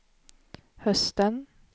hösten